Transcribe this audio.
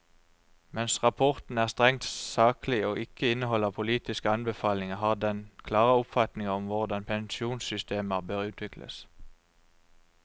Mens rapporten er strengt saklig og ikke inneholder politiske anbefalinger, har han klare oppfatninger om hvordan pensjonssystemer bør utvikles.